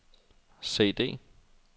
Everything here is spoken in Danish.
CD